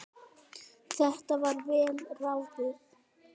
Þetta var vel ráðið.